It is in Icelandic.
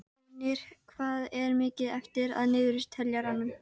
Einungis örfáir einstaklingar geti komist óskaddaðir frá því.